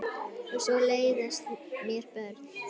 Og svo leiðast mér börn.